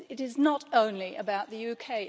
It is not only about the UK.